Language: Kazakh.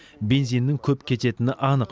бензиннің көп кететіні анық